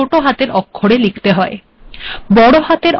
আউটপুট্িট পিরবর্িতত হযে় েগল